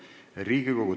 Istungi lõpp kell 11.40.